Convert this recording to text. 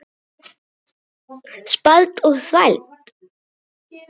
Spæld og þvæld.